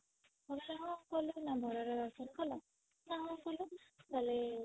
ବାବା କହିଲେ ହଁ ଭଲ ଥିଲା ଭଲ ରେ ଦର୍ଶନ କଲ ନ ହଁ କଲୁ